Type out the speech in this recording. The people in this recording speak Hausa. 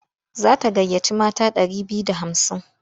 Za ta gayyaci mata ɗari biyu da hamsin.